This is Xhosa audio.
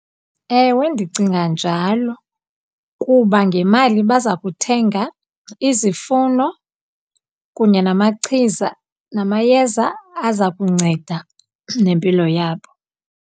Ewe, ndicinga njalo, kuba ngemali baza kuthenga izifuno kunye namachiza, namayeza aza kunceda nempilo yabo.